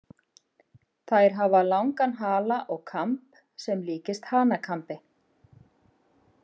Þær hafa langan hala og kamb sem líkist hanakambi.